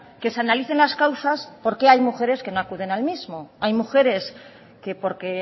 que se analicen las causas de por qué hay mujeres que no acuden al mismo hay mujeres que porque